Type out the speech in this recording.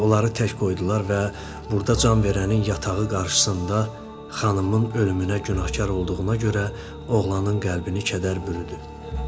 Onları tək qoydular və burda can verənin yatağı qarşısında xanımın ölümünə günahkar olduğuna görə oğlanın qəlbini kədər bürüdü.